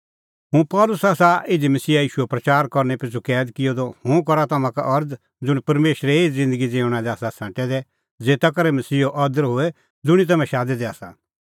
हुंह पल़सी आसा इधी मसीहा ईशूओ प्रच़ार करनै पिछ़ू कैद किअ द हुंह करा तम्हां का अरज़ ज़ुंण परमेशरै एही ज़िन्दगी ज़िऊंणां लै आसा छ़ांटै दै ज़ेता करै मसीहो अदर होए ज़ुंणी तम्हैं शादै दै आसा